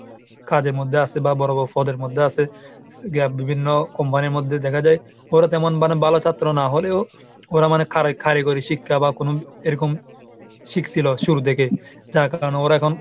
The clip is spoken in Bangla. কাজের মধ্যে আছে বা বড় বড় পদের মধ্যে আছে. বিভিন্ন company এর মধ্যে দেখা যায়। ওরা তেমন মানে ভালো ছাত্র না হলেও ওরা মানে কারি ⁓ কারিগরি শিক্ষা বা কোন এরকম শিখছিল শুরু থেকে। যার কারণ ওরা এখন